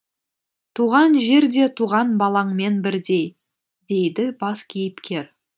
туған жер де туған балаңмен бірдей дейді бас кейіпкер